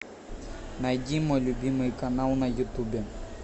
найди мой любимый канал на ютубе